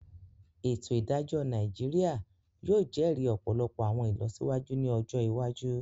Ètò Ìdájọ́ Nàìjíríà yóò jẹ́ri ọ̀pọ̀lọpọ̀ àwọn ìlọsíwájú ní ọjọ iwájú